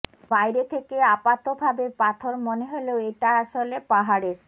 বাইরে থেকে আপাতভাবে পাথর মনে হলেও এটা আসলে পাহাড়ের